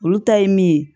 Olu ta ye min ye